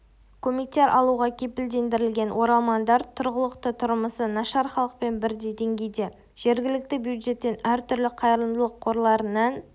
көмектер алуға кепілдендірілген оралмандар тұрғылықты тұрмысы нашар халықпен бірдей деңгейде жергілікті бюджеттен әртүрлі қайырымдылық қорларынан